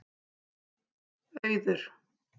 Auður